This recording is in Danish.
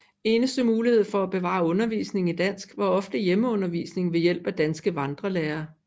Eneste mulighed for at bevare undervisning i dansk var ofte hjemmeundervisning ved hjælp af danske vandrelærere